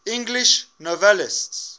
english novelists